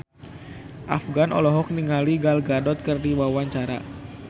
Afgan olohok ningali Gal Gadot keur diwawancara